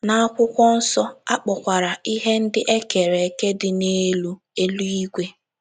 N’Akwụkwọ Nsọ, a kpọkwara ihe ndị e kere eke dị n’elu “ eluigwe. ”